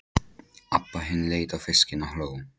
Abba hin leit á fiskinn og hló.